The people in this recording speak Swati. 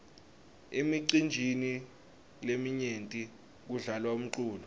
emicinjini leminyenti kudlalwa umculo